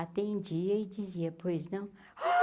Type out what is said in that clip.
Atendia e dizia, pois não.